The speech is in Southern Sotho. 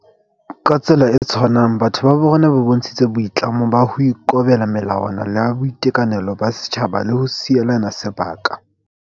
Ka tsela e tshwanang, batho ba bo rona ba bontshitse boi tlamo ba ho ikobela melawa na ya boitekanelo ba setjhaba le ho sielana sebaka.